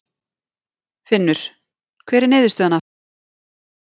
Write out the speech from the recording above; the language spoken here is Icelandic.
Finnur: Hver er niðurstaðan af þessum fundi?